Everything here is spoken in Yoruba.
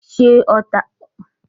Ṣètò ọjà gbàǹjo fún osù tó ń bọ̀!